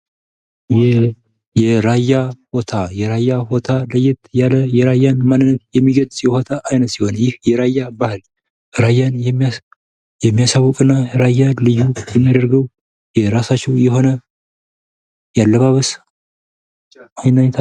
የራያ ቦታ የራያ ቦታ ለየት ያለ የራያን ማንነት የሚገልፅ የቦታ አይነት ስሆን ይህ የራያ ባህል ራያን የሚያሳውቅ እና ራያን ለየት የሚያደርገው የራሳቸው የሆነ የአለባበስ አይነት ነው::